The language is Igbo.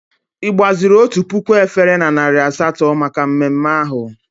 Ị gbaziri otu puku efere na narị asatọ maka mmemme ahụ?